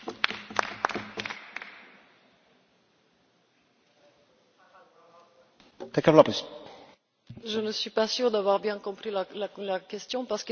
Monsieur Aker, je ne suis pas sûre d'avoir bien compris la question parce qu'il me semble qu'elle soulève deux aspects complètement contradictoires en guise de question.